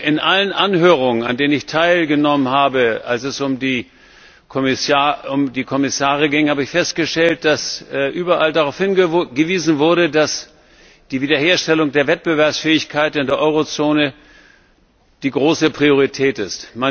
In allen Anhörungen, an denen ich teilgenommen habe, als es um die Kommissare ging, habe ich festgestellt, dass überall darauf hingewiesen wurde, dass die Wiederherstellung der Wettbewerbsfähigkeit in der Eurozone die große Priorität ist.